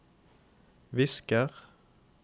visker